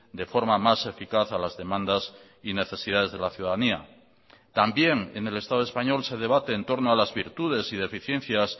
de forma más eficaz a las demandas y necesidades de la ciudadanía también en el estado español se debate en torno a las virtudes y deficiencias